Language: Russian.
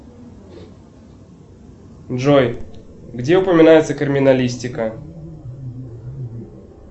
джой где упоминается криминалистика